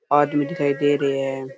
आदमी दिखाई दे रहे है।